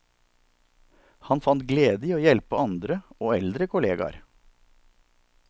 Han fant glede i å hjelpe andre og eldre kolleger.